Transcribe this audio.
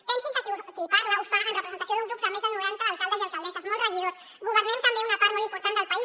pensin que qui parla ho fa en representació d’un grup amb més de noranta alcaldes i alcaldesses molts regidors governem també una part molt important del país